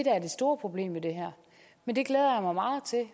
er det store problem ved det her men det glæder jeg mig meget til